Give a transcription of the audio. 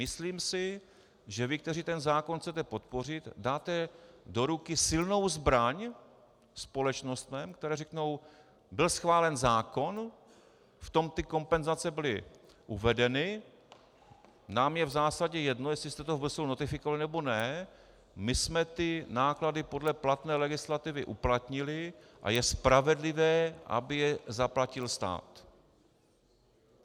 Myslím si, že vy, kteří ten zákon chcete podpořit, dáte do ruky silnou zbraň společnostem, které řeknou: Byl schválen zákon, v tom ty kompenzace byly uvedeny, nám je v zásadě jedno, jestli jste to v Bruselu notifikovali, nebo ne, my jsme ty náklady podle platné legislativy uplatnili a je spravedlivé, aby je zaplatil stát.